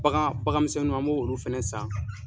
Bagan bagan misɛnninw an b'o olu fɛnɛ san.